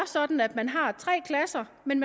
sådan at man har tre klasser men